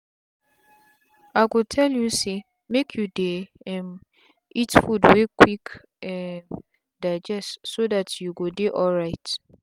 i go tell you say make you dey um eat food wey go quick um digest so that you go dey alright